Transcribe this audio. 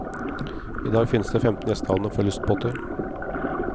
I dag finnes det femten gjestehavner for lystbåter.